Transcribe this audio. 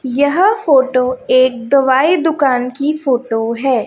यह फोटो एक दवाई दुकान की फोटो है।